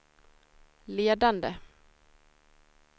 ledande